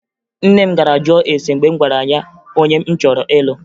Nne m gara jụọ ese mgbe m gwara ya onye m chọrọ ịlụ